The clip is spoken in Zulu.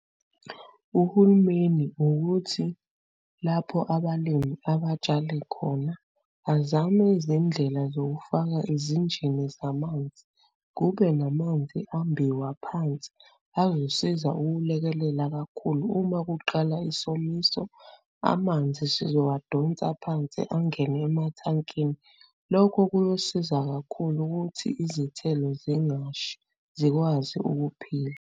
Uhulumeni ukuthi lapho abalimi abatshale khona, azame izindlela zokufaka izinjini zamanzi, kube namanzi ambiwa phansi azosiza ukulekelela kakhulu. Uma kuqala isomiso, amanzi sizowadonsa phansi angene emathankini. Lokhu kuyosiza kakhulu ukuthi izithelo zingashi zikwazi ukuphila.